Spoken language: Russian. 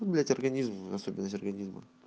вот блять организм особенность организма